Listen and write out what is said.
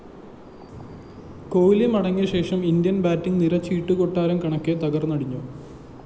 കോഹ്‌ലി മടങ്ങിയശേഷം Indian‍ batting നിര ചീട്ടുകൊട്ടാരം കണക്കെ തകര്‍ന്നടിഞ്ഞു